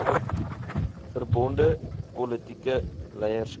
verbonde politieke leierskap